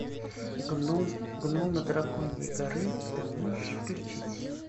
гном гномы драконьей горы ты можешь включить